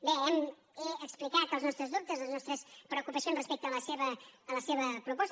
bé he explicat els nostres dubtes les nos·tres preocupacions respecte a la seva proposta